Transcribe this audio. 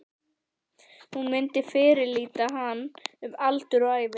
Hún myndi fyrirlíta hann um aldur og ævi!